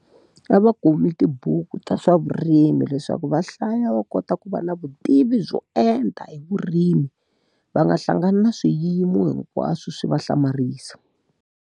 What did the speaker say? A va kumi tibuku ta swa vurimi leswaku va hlaya va kota ku va na vutivi byo enta hi vurimi. Va nga hlangana na swiyimo hinkwaswo swi va hlamarisa.